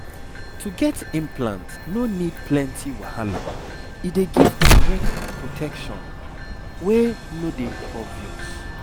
to get implant no need plenty wahala e dey give correct protection wey no dey obvious